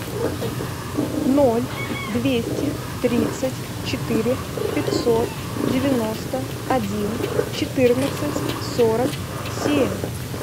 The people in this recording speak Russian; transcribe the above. ноль двести тридцать четыре пятьсот девяносто один четырнадцать сорок семь